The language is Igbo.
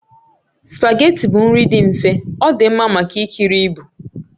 Spageetí bụ nri dị mfe, ọ dị mma maka ikiri ibu